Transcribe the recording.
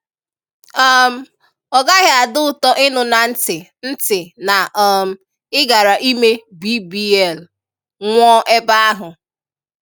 um Ọ gaghị adị ụtọ ịṅụ na ntị ntị na um ị gara ịmé BBL, nwuó ebé ahụ.